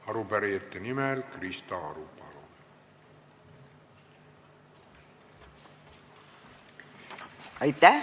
Arupärijate nimel Krista Aru, palun!